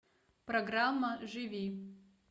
программа живи